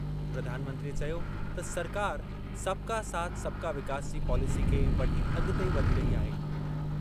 प्रधानमंत्रीअ चयो त सरकार 'सबका साथ सबका विकास' जी पॉलेसी खे वठी अगि॒ते वधी रही आहे।